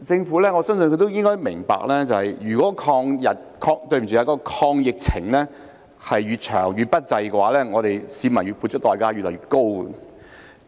我相信政府也應該明白，如果抗疫越長越不濟，市民要付出的代價也越來越高。